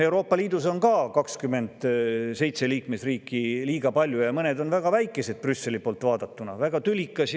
Euroopa Liidus on ka 27 liikmesriiki – liiga palju, ja mõned Brüsseli poolt vaadatuna väga väikesed.